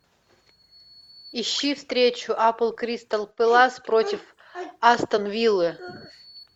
ищи встречу апл кристал пэлас против астон виллы